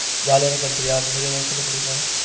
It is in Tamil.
ஜாலியான country அந்த மாதிரி ஏதாவது சொல்ல முடியுமா?